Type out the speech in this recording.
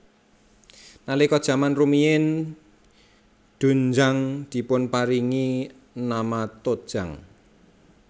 Nalika jaman rumiyin doenjang dipunparingi nama tojang